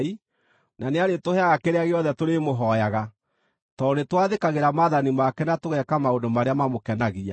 na nĩarĩtũheaga kĩrĩa gĩothe tũrĩmũhooyaga, tondũ nĩtwathĩkagĩra maathani make na tũgeeka maũndũ marĩa mamũkenagia.